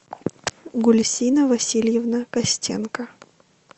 гульсина васильевна костенко